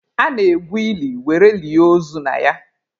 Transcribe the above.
A na-egwu ili were lie ozu na ya.